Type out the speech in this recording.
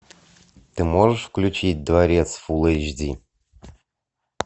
ты можешь включить дворец фул эйч ди